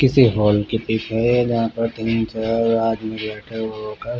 किसी हॉल के पीछे है जहा पर तीन चार आदमी बैठे हुए है.